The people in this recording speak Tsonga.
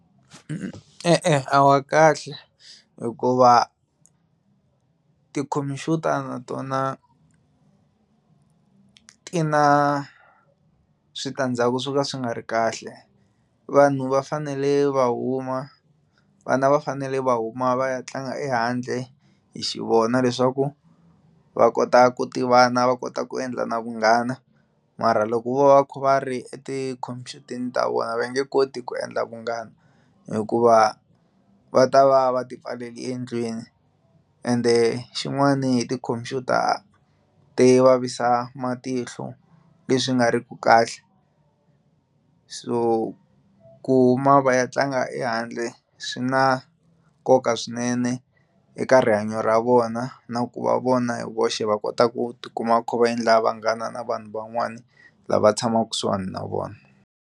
E-e, a wa kahle hikuva tikhompyuta na tona ti na switandzhaku swo ka swi nga ri kahle vanhu va fanele va huma vana va fanele va huma va ya tlanga ehandle hi xivona leswaku va kota ku tivana va kota ku endla na vunghana mara loko vo va kha va ri etikhompyuteni ta vona va nge koti ku endla vunghana hikuva va ta va va ti pfalele endlwini ende xin'wani hi ti-computer ti vavisa matihlo leswi nga ri ki kahle so ku huma va ya tlanga ehandle swi na nkoka swinene eka rihanyo ra vona na ku va vona hi voxe va kota ku ti kuma va kha va endla vanghana na vanhu van'wani lava tshamaka kusuhani na vona.